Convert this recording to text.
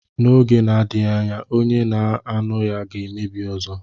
N'oge na-adịghị anya, onye na-aṅụ ya ga-emebi ọzọ.